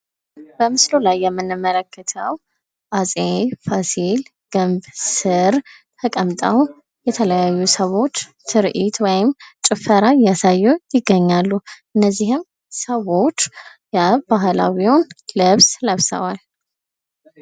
በምስሉ ላይ የምንመለከተው አፄ ፋሲል ግንብ ስር ተቀምጠው የተለያዩ ሰዎች ትርኢት ወይም ጭፈራ እያሳዩ ይገኛሉ። እነዚህም ሰዎች የባህላዊዩን ልብስ ለብሰዋል።